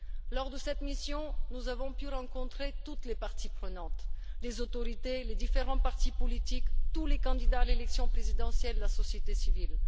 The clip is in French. Lors de cette mission, nous avons pu rencontrer toutes les parties prenantes, les autorités, les différents partis politiques, tous les candidats à l'élection présidentielle et la société civile.